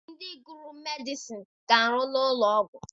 Ndị gụrụ medịcịn na-arụ n'ụlọọgwụ.